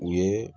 U ye